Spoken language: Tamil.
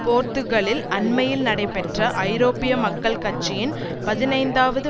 போர்த்துகலில் அண்மையில் நடைபெற்ற ஐரோப்பிய மக்கள் கட்சியின் பதினைந்தாவது